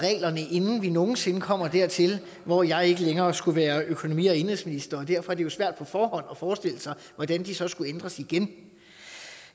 inden vi nogen sinde kommer dertil hvor jeg ikke længere skal være økonomi og indenrigsminister derfor er det jo svært på forhånd at forestille sig hvordan de så skulle ændres igen